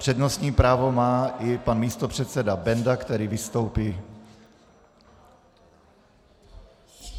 Přednostní právo má i pan místopředseda Benda, který vystoupí.